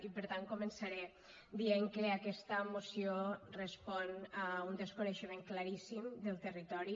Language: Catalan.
i per tant començaré dient que aquesta moció respon a un desconeixement claríssim del territori